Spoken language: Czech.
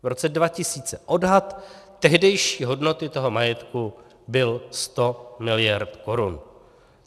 V roce 2000 odhad tehdejší hodnoty toho majetku byl 100 miliard korun.